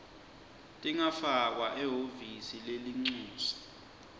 tingafakwa ehhovisi lelincusa